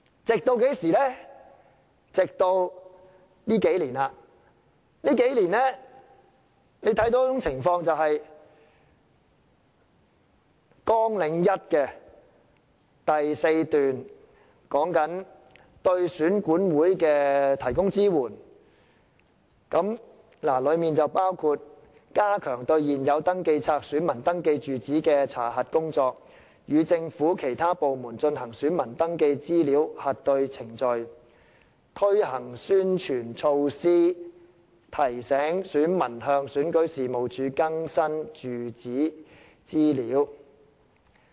直至最近數年，大家看到一種情況，也就是綱領下第4段所說的，對選舉管理委員會提供支援，包括加強對現有登記冊選民登記住址的查核工作；與政府其他部門進行選民登記資料核對程序；推行宣傳措施，提醒選民向選舉事務處更新住址資料。